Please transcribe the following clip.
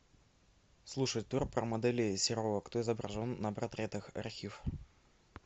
слушать тур про моделей серова кто изображен на портретах архив